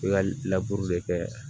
I ka kɛ